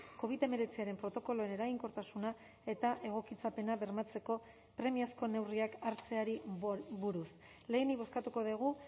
covid hemeretziaren protokoloen eraginkortasuna eta egokitzapena bermatzeko premiazko neurriak hartzeari buruz lehenik bozkatuko dugu